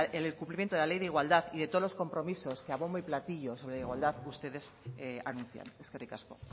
el cumplimiento de la ley de igualdad y de todos los compromisos que a bombo y platillos sobre igualdad ustedes anuncian eskerrik asko